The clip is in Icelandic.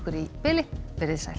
í bili veriði sæl